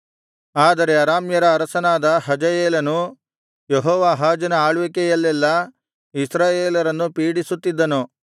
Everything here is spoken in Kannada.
ಆದರೆ ಅರಾಮ್ಯರ ಅರಸನಾದ ಹಜಾಯೇಲನು ಯೆಹೋವಾಹಾಜನ ಆಳ್ವಿಕೆಯಲ್ಲೆಲ್ಲಾ ಇಸ್ರಾಯೇಲರನ್ನು ಪೀಡಿಸುತ್ತಿದ್ದನು